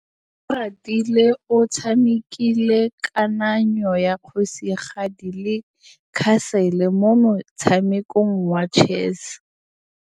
Oratile o tshamekile kananyô ya kgosigadi le khasêlê mo motshamekong wa chess.